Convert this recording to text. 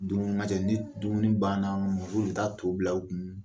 Dumuni n ka cɛ, ni dumuni banna muso de bɛ taa to bila u kun